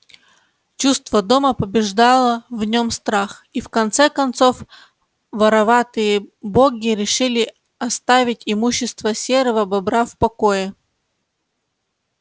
чувство дома побеждало в нём страх и в конце концов вороватые боги решили оставить имущество серого бобра в покое